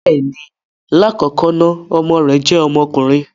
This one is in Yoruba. Bẹẹni, lakọkọ na ọmọ rẹ jẹ ọmọkunrin.